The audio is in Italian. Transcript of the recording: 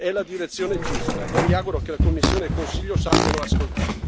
È la direzione giusta, e mi auguro che la Commissione e il Consiglio sappiano ascoltare.